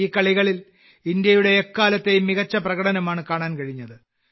ഈ കളികളിൽ ഇന്ത്യയുടെ എക്കാലത്തെയും മികച്ച പ്രകടനമാണ് കാണാൻ കഴിഞ്ഞത്